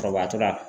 Kɔrɔbayatɔ la